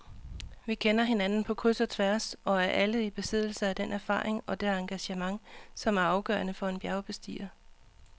Vi kender hinanden på kryds og tværs og er alle i besiddelse af den erfaring og det engagement, som er afgørende for en bjergbestiger.